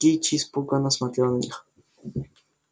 кичи испуганно смотрела на них